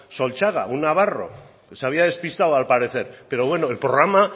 solchaga un navarro que se había despistado al parecer pero bueno el programa